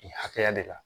Nin hakɛya de kan